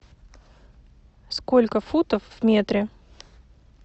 сколько футов в метре